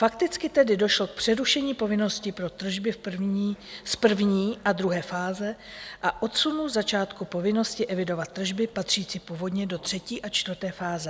Fakticky tedy došlo k přerušení povinnosti pro tržby z první a druhé fáze a odsunu začátku povinnosti evidovat tržby patřící původně do třetí a čtvrté fáze.